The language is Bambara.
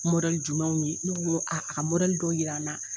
jumɛnw ye ne ko a a ka dɔ jira an na